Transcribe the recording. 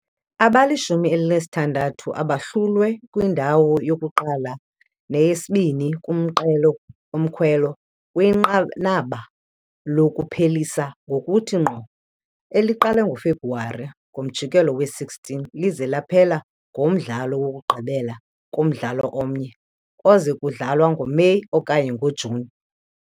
Abalishumi elinesithandathu abahlulwe kwindawo yokuqala neyesibini kumqelo womkhwelo kwinqanaba lokuphelisa ngokuthi ngqo, eliqale ngoFebruwari ngomjikelo we-16 lize laphela ngomdlalo wokugqibela kumdlalo omnye, oze kudlalwa ngoMeyi okanye ngoJuni.